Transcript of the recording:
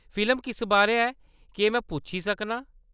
Film किस बारै है, केह्‌‌ में पुच्छी सकना आं?